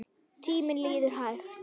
Tíminn líður hægt.